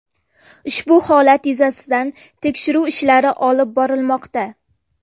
Ushbu holat yuzasidan tekshiruv ishlari olib borilmoqda.